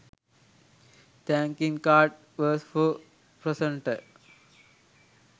thanking card verse for presenter